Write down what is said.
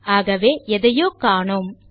ஆகவே எதையோ காணோம்